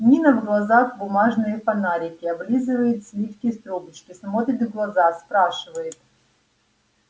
нина в глазах бумажные фонарики облизывает сливки с трубочки смотрит в глаза спрашивает